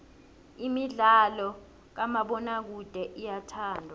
imidlalo kamabonakude iyathandwa